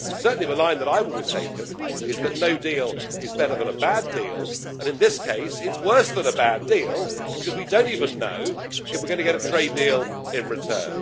Certainly, the line that I have always taken is that no deal is better than a bad deal, and in this case it's worse than a bad deal because we don't even know if we are going to get a trade deal in return.